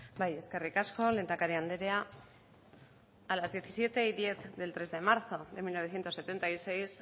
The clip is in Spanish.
bai eskerrik asko lehendakari andrea a las diecisiete diez del tres de marzo de mil novecientos setenta y seis